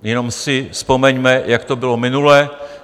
Jenom si vzpomeňme, jak to bylo minule.